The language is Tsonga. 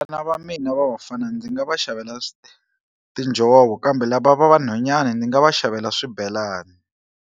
Vana va mina va vafana ndzi nga va xavela tinjhovo kambe lava va vanhwanyani ndzi nga va xavela swibelani.